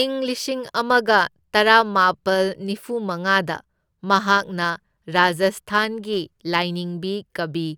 ꯏꯪ ꯂꯤꯁꯤꯡ ꯑꯃꯒ ꯇꯔꯥꯃꯥꯄꯜ ꯅꯤꯐꯨ ꯃꯉꯥꯗ ꯃꯍꯥꯛꯅ ꯔꯥꯖꯁꯊꯥꯟꯒꯤ ꯂꯥꯢꯅꯤꯡꯕꯤ ꯀꯕꯤ